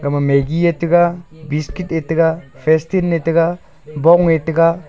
aga ma maggie ae taega biscuit ae taega fishtin ae taega bong ae taega.